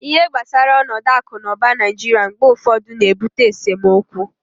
ihe gbasara onodu aku na uba naijiria mgbe ufodu na-ebute esemokwu